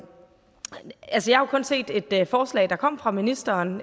har jo kun set et et forslag der kom fra ministeren